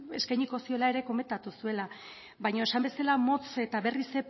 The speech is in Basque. eskainiko ziola ere komentatu zuela baina esan bezala motz eta berriz